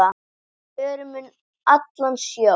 Förum um allan sjó.